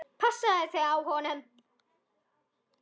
Passaðu þig á honum.